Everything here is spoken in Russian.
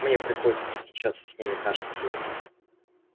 мне приходится встречаться с ними каждый день